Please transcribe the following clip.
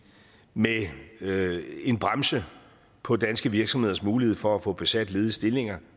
med en bremse på danske virksomheders muligheder for at få besat ledige stillinger